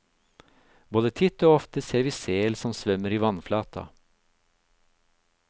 Både titt og ofte ser vi sel som svømmer i vannflata.